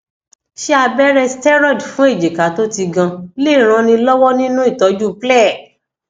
ṣé abere steriod fun ejika to ti gan lè ràn ni lọwọ nínú ìtọjú ple